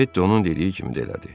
Ketti onun dediyi kimi də elədi.